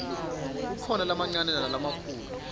kukhona lamancane nalamikhulu